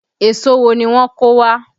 Èso wo ni wọ́n kó wá?